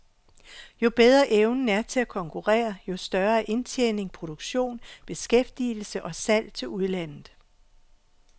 Jo bedre evnen er til at konkurrere, jo større er indtjening, produktion, beskæftigelse og salg til udlandet.